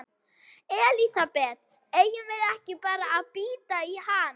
Elísabet: Eigum við ekki bara að bíta í hann?